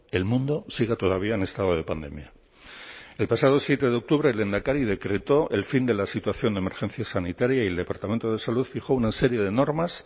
el mundo siga todavía en estado de pandemia el pasado siete de octubre el lehendakari decretó el fin de la situación de emergencia sanitaria y el departamento de salud fijó una serie de normas